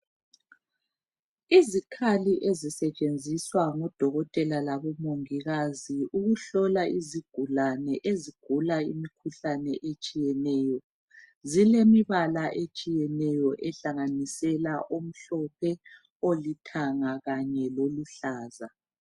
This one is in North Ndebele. Izikhali ezisetshenziswa ngodokotela labomongikazi ukuhlola izigulane ezigula imikhuhlane etshiyeneyo. Zilemibala etshiyeneyo ehlanganisela ,omhlophe, olithanga kanye loluhlaza.